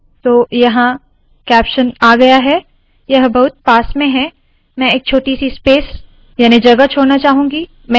तो यहाँ कैप्शनआ गया है यह बहुत पास में है – मैं एक छोटी सी स्पेस याने जगह छोड़ना चाहूंगी